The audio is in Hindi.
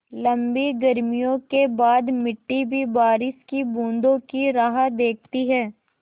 लम्बी गर्मियों के बाद मिट्टी भी बारिश की बूँदों की राह देखती है